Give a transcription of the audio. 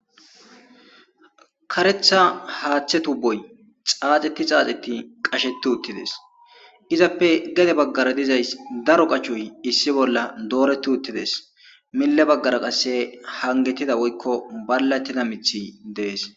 Karetha haaththe tuboy xaaxeti xaaxeti qasheti uttides izappe gede baggara dizays daro qachuy issi bolla dooreti uttides mille baggara qasse hangetida woykko ballattida mithi dees